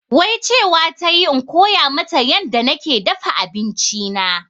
Wai cewa tayi in koya mata yanda nake dafa abinci na